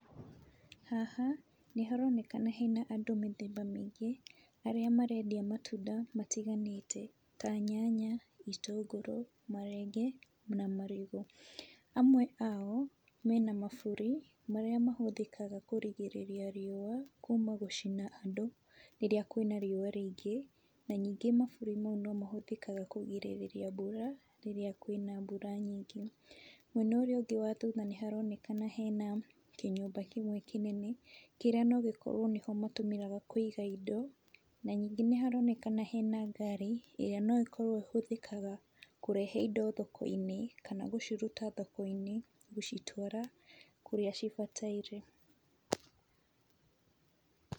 Haha nĩ haronekana hena andũ mĩthemba mĩingĩ, arĩa marendia matunda matiganĩte ta nyanya, itũngũrũ, marenge na marigũ. Amwe ao, mena maburi, marĩa matũmĩka kũgĩrĩrĩria riũa kuuma gũcina andũ rĩrĩa kwĩna riũa rĩingĩ, na ningĩ mabũri maũ no mahũthĩkaga kũrigĩrĩria mbura rĩrĩa kwĩna mbũra nyingĩ. Mwena ũrĩa ũngĩ wa thutha nĩ haronekana hena kĩnyũmba kĩmwe kĩnene, kĩrĩa nogĩkorwo nĩkĩo matũmĩraga kũiga indo, na ningĩ nĩ haronekana hena ngari, ĩrĩa no ĩkorwo ĩhũthĩkaga kũrehe indo thoko-inĩ, kana gũciruta thoko-inĩ gũcitwara kũrĩa cibataire.